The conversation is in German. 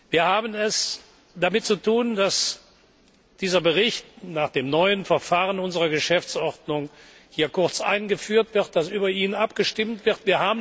Wir haben es damit zu tun, dass dieser Bericht nach dem neuen Verfahren unserer Geschäftsordnung hier kurz eingeführt wird und dass über ihn abgestimmt wird.